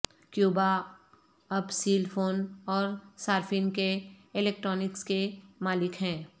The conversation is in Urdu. کیوبا اب سیل فون اور صارفین کے الیکٹرانکس کے مالک ہیں